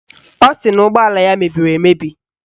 Ọ sị na ụgbọala ya mebiri emebi